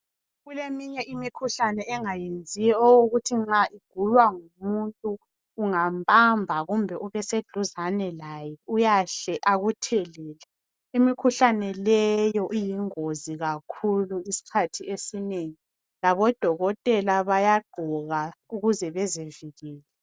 Kuleminye imikhuhlane engayenziyo okokuthi nxa igulwa ngumuntu ungambamba kumbe ubeseduzane laye uyahle akuthelele. Imikhuhlane leyo iyingozi kakhulu kuskhathi esinengi labodokotela bayagqoka ukuze bezivikele.